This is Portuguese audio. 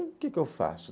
O que que eu faço?